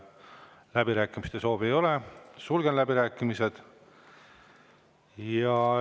Läbirääkimiste soovi ei ole, sulgen läbirääkimised.